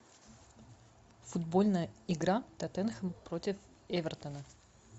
футбольная игра тоттенхэм против эвертона